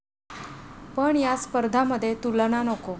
पण या स्पर्धामध्ये तुलना नको.